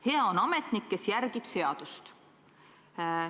Hea on ametnik, kes järgib seadust.